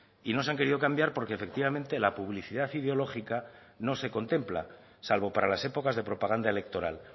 y no se han querido cambiar porque efectivamente la publicidad ideológica no se contempla salvo para las épocas de propaganda electoral